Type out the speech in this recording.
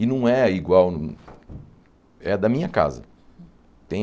E não é igual... É da minha casa.